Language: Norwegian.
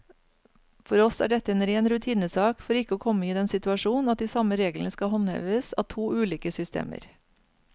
For oss er dette en ren rutinesak for ikke å komme i den situasjon at de samme reglene skal håndheves av to ulike systemer.